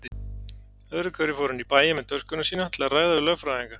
Öðruhverju fór hann í bæinn með töskuna sína til að ræða við lögfræðinga.